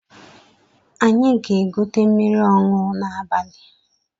Anyị ga-egote mmiri ọṅụ n’abali